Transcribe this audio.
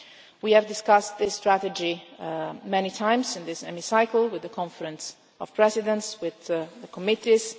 We have discussed this strategy many times in this Hemicycle, with the Conference of Presidents, with the committees.